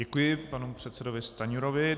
Děkuji panu předsedovi Stanjurovi.